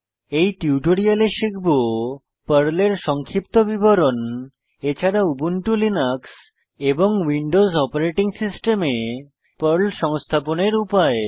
এই টিউটোরিয়ালে শিখব পর্লের সংক্ষিপ্ত বিবরণ এছাড়া উবুন্টু লিনাক্স এবং উইন্ডোজ অপারেটিং সিস্টেমে পর্ল সংস্থাপনের উপায়